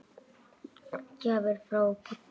Gjafir frá Búddu.